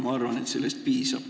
Ma arvan, et sellest piisab.